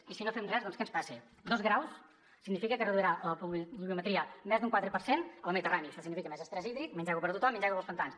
i si no fem res doncs què ens passa dos graus signifiquen que es reduirà la pluviometria més d’un quatre per cent a la mediterrània i això significa més estrès hídric menys aigua per a tothom menys aigua per als pantans